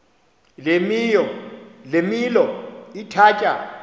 le milo ithatya